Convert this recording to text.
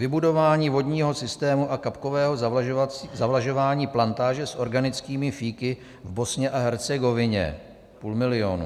Vybudování vodního systému a kapkového zavlažování plantáže s organickými fíky v Bosně a Hercegovině - půl milionu.